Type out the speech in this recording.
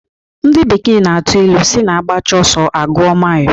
Ndị bekee na-atụ ilu sị na agbacha ọsọ, agụọ mail